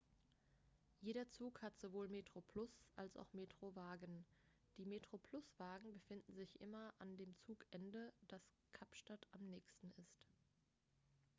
jeder zug hat sowohl metroplus als auch metro-wagen die metroplus-wagen befinden sich immer an dem zugende das kapstadt am nächsten ist